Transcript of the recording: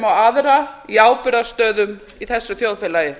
og aðra í ábyrgðarstöðum í þessu þjóðfélagi